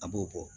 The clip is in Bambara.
A b'o bɔ